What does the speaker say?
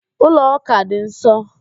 Ụlọ ụka dị nsọ